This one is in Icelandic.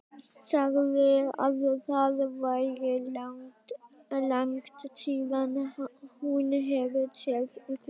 Sagði að það væri langt síðan hún hefði séð þig.